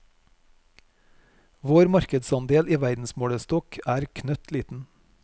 Vår markedsandel i verdensmålestokk er knøttliten.